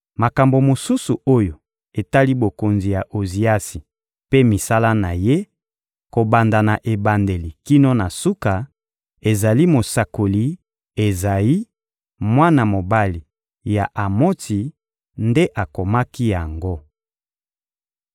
Makambo mosusu oyo etali bokonzi ya Oziasi mpe misala na ye, kobanda na ebandeli kino na suka, ezali mosakoli Ezayi, mwana mobali ya Amotsi, nde akomaki yango.